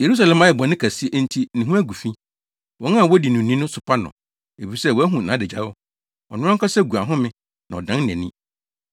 Yerusalem ayɛ bɔne kɛse enti ne ho agu fi. Wɔn a wodi no ni no sopa no, efisɛ wɔahu nʼadagyaw; ɔno ankasa gu ahome na ɔdan nʼani.